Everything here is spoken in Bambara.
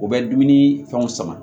U bɛ dumuni fɛnw sama